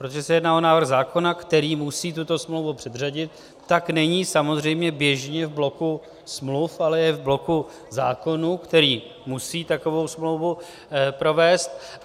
Protože se jedná o návrh zákona, který musí tuto smlouvu předřadit, tak není samozřejmě běžně v bloku smluv, ale je v bloku zákonů, který musí takovou smlouvu provést.